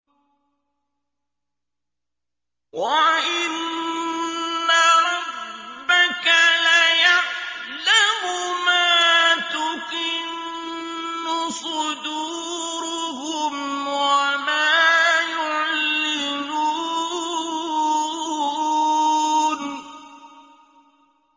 وَإِنَّ رَبَّكَ لَيَعْلَمُ مَا تُكِنُّ صُدُورُهُمْ وَمَا يُعْلِنُونَ